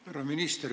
Härra minister!